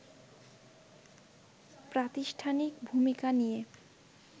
প্রাতিষ্ঠানিক ভূমিকা নিয়ে